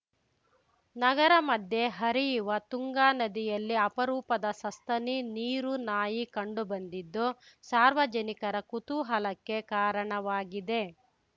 ನಗರ ಮಧ್ಯೆ ಹರಿಯುವ ತುಂಗಾ ನದಿಯಲ್ಲಿ ಅಪರೂಪದ ಸಸ್ತನಿ ನೀರುನಾಯಿ ಕಂಡುಬಂದಿದ್ದು ಸಾರ್ವಜನಿಕರ ಕುತೂಹಲಕ್ಕೆ ಕಾರಣವಾಗಿದೆ